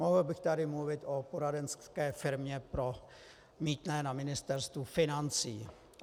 Mohl bych tady mluvit o poradenské firmě pro mýtné na Ministerstvu financí.